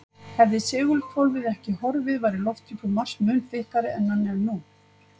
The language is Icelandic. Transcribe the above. Hefði segulhvolfið ekki horfið væri lofthjúpur Mars mun þykkari en hann er nú.